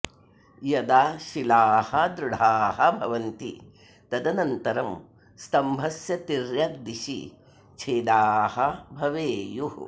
यदा शिलाः दृढाः भवन्ति तदनन्तरं स्तम्भस्य तिर्यक् दिशि छेदाः भवेयुः